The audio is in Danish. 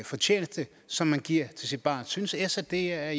fortjeneste som man giver til sit barn synes s at det er